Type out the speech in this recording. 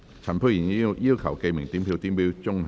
陳沛然議員要求點名表決。